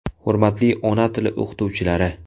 Hurmatli ona tili o‘qituvchilari!